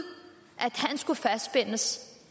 han skulle fastspændes